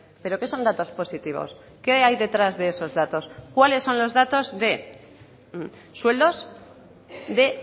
pero qué son datos positivos qué hay detrás de esos datos cuáles son los datos de sueldos de